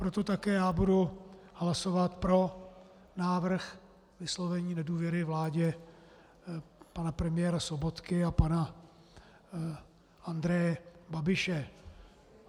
Proto také já budu hlasovat pro návrh vyslovení nedůvěry vládě pana premiéra Sobotky a pana Andreje Babiše.